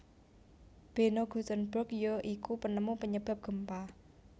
Beno Gutenberg ya iku penemu penyebab gempa